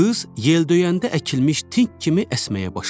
Qız yeldöyəndə əkilmiş tink kimi əsməyə başladı.